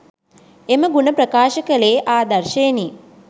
එම ගුණ ප්‍රකාශ කළේ ආදර්ශයෙනි.